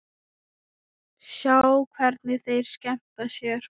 Sjá hvernig þeir skemmta sér.